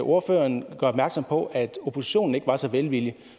ordføreren gør opmærksom på at oppositionen ikke var så velvillig